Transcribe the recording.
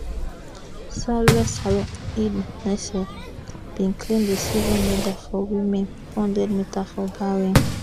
salwa salwa eid naser bin claim di silver medal for di women four hundred metres for bahrain